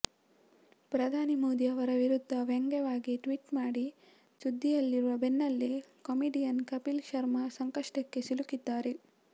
ಪ್ರಧಾನಿ ಮೋದಿ ಅವರ ವಿರುದ್ಧ ವ್ಯಂಗ್ಯವಾಗಿ ಟ್ವೀಟ್ ಮಾಡಿ ಸುದ್ದಿಯಲ್ಲಿರುವ ಬೆನ್ನಲ್ಲೇ ಕಾಮಿಡಿಯನ್ ಕಪಿಲ್ ಶರ್ಮಾ ಸಂಕಷ್ಟಕ್ಕೆ ಸಿಲುಕಿದ್ದಾರೆ